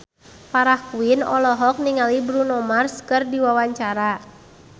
Farah Quinn olohok ningali Bruno Mars keur diwawancara